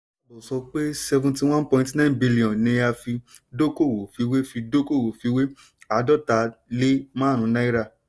ìjábọ̀ sọ pé seventy one point nine billion ni a fi dọ́kowọ̀ fiwé fi dọ́kowọ̀ fiwé àádọta lé márùn náírà.